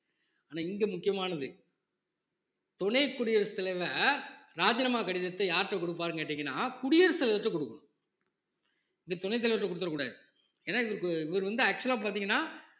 ஆனா இங்க முக்கியமானது துணை குடியரசுத் தலைவர் ராஜினாமா கடிதத்தை யார்கிட்ட கொடுப்பாருன்னு கேட்டீங்கன்னா குடியரசுத் தலைவர்ட்ட கொடுக்கணும் இதை துணைத் தலைவர்கிட்ட கொடுத்துற கூடாது ஏன்னா இவருக்கு இவர் வந்து actual ஆ பார்த்தீங்கன்னா